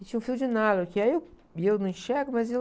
E tinha um fio de nylon que aí eu, e eu não enxergo, mas eu...